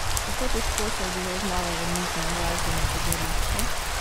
Kako težko se je bilo znova vrniti na glasbeno prizorišče?